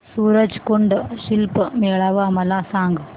सूरज कुंड शिल्प मेळावा मला सांग